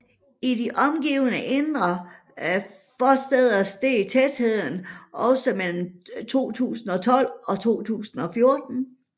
I de omgivende indre forstæder steg tætheden også mellem 2012 og 2014